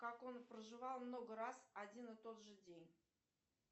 как он проживал много раз один и тот же день